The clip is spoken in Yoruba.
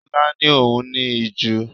Lola ni òun ní ìju.